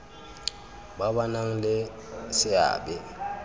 ba ba nang le seabe